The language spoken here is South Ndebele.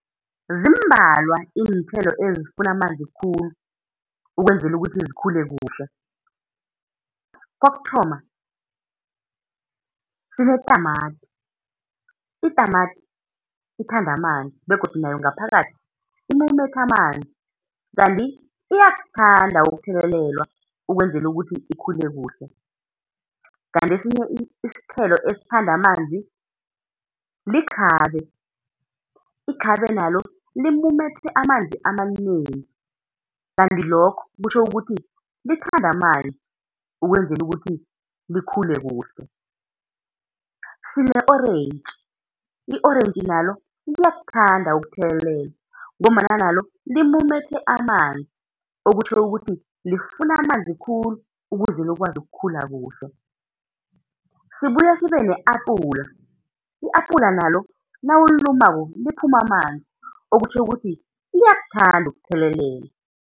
Zimbalwa iinthelo ezifuna amanzi khulu ukwenzela ukuthi zikhule kuhle. Kokuthoma, sinetamati, itamati ithanda amanzi, begodu nayo ngaphakathi imumethe amanzi, kanti iyakuthanda ukuthelelwa ukwenzela ukuthi ikhule kuhle. Kanti esinye isithelo esithanda amanzi likhabe, ikhabe nalo limumethe amanzi amanengi, kanti lokho kutjho ukuthi lithanda amanzi, ukwenzela ukuthi likhule kuhle. Sine-orentji, i-orentji nalo liyakuthanda ukuthelelelwa, ngombana nalo limumethe amanzi okutjho ukuthi lifuna amanzi khulu ukuze likwazi ukukhula kuhle. Sibuye sibe ne-apula, i-apula nalo nawulilumako liphuma amanzi, okutjho ukuthi liyakuthanda ukuthelelelwa.